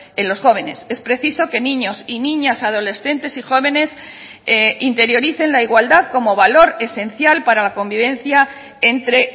en los jóvenes es preciso que niños y niñas adolescentes y jóvenes interioricen la igualdad como valor esencial para la convivencia entre